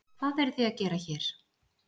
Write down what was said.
Hvað eruð þið að gera hér?